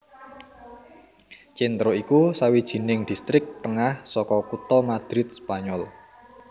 Centro iku sawijining distrik tengah saka kutha Madrid Spanyol